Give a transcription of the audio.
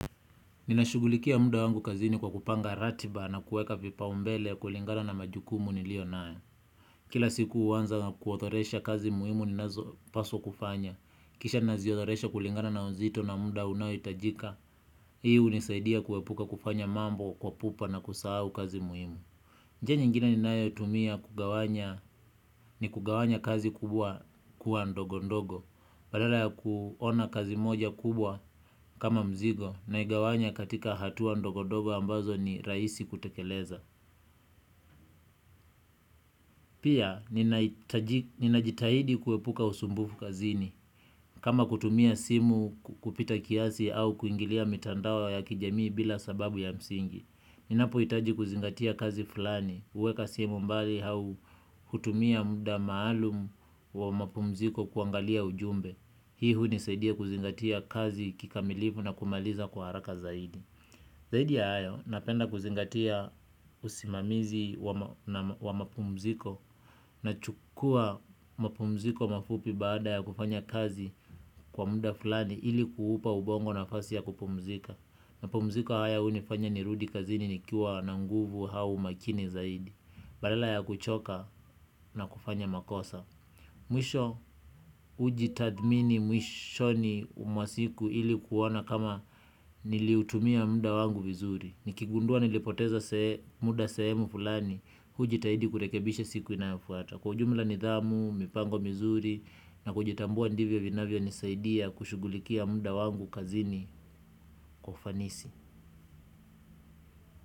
Ninashugulikia muda wangu kazini kwa kupanga ratiba na kuweka vipa umbele kulingana na majukumu niliyo nayo. Kila siku huanza na kuodhoresha kazi muhimu ninazo paswa kufanya. Kisha naziodhoresha kulingana na uzito na muda unao hitajika. Hii hunisaidia kuepuka kufanya mambo kwa pupa na kusahau kazi muhimu. Njia nyingine ni nayo tumia kugawanya ni kugawanya kazi kubwa kuwa ndogo ndogo. Badala ya kuona kazi moja kubwa kama mzigo na igawanya katika hatua ndogo-ndogo ambazo ni rahisi kutekeleza. Pia, ninajitahidi kuepuka usumbufu kazini. Kama kutumia simu kupita kiasi au kuingilia mitandao ya kijamii bila sababu ya msingi. Ninapo hitaji kuzingatia kazi fulani. Huweka simu mbali au hutumia muda maalum wa mapumziko kuangalia ujumbe. Hii huni saidia kuzingatia kazi kikamilifu na kumaliza kwa haraka zaidi. Zaidi ya hayo napenda kuzingatia usimamizi wa mapumziko. Na chukua mapumziko mafupi baada ya kufanya kazi kwa muda fulani ili kuupa ubongo na fasi ya kupumzika. Mapumziko haya huni fanya ni rudikazini nikiwa na nguvu au umakini zaidi. Badala ya kuchoka na kufanya makosa mwisho hujitadhmini mwisho ni mwasiku ilikuona kama niliutumia muda wangu vizuri. Nikigundua nilipoteza muda sehemu fulani hujitahidi kurekebisha siku inayofuata. Kwaujumla nidhamu, mipango vizuri na kujitambua ndivyo vinavyo nisaidia kushughulikia muda wangu kazini kwaufanisi.